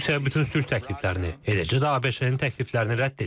Rusiya bütün sülh təkliflərini, eləcə də ABŞ-nin təkliflərini rədd edir.